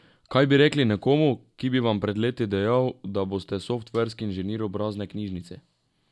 Kaj bi rekli nekomu, ki bi vam pred leti dejal, da boste softverski inženir obrazne knjižnice?